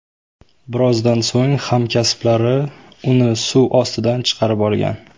Birozdan so‘ng hamkasblari uni suv ostidan chiqarib olgan.